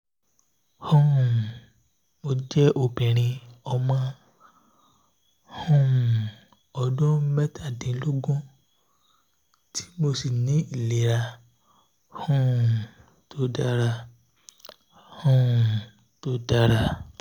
um mo jẹ obinrin ọmọ um ọdun mẹtadinlogun ti mo si ni ilera um to dara um to dara